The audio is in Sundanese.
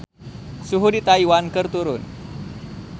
Suhu di Taiwan keur turun